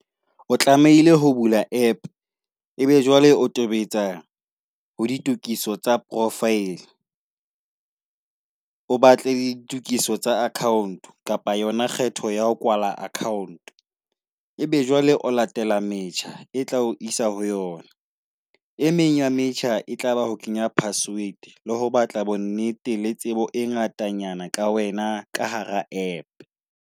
O tlamehile ho bula app, ebe jwale o tobetsa ho ditokiso tsa profile. O batle ditokiso tsa account kapa yona kgetho ya ho kwala account. Ebe jwale o latela metjha, e tla isa ho yona. E meng ya metjha e tlaba, ho kenya password le ho batla bonnete le tsebo e ngatanyana ka wena ka hara app.